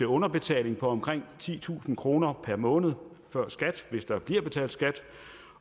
underbetaling på omkring titusind kroner per måned før skat hvis der bliver betalt skat